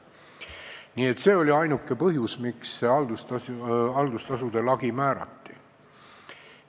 Nii et see oli ainuke põhjus, miks haldustasudele lagi määrati.